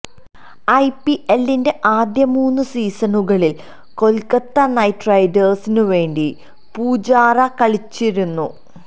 ഐപിഎല്ലിന്റെ ആദ്യ മൂന്ന് സീസണുകളില് കൊല്ക്കത്ത നൈറ്റ് റൈഡേഴ്സിനുവേണ്ടി പൂജാര കളിച്ചിരുന്നു